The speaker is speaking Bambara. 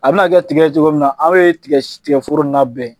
A bi na kɛ tigɛ cogo min na, aw ye tigɛforo in na bɛn.